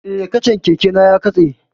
Eh, kacan keke na ya katse